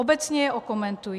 Obecně je okomentuji.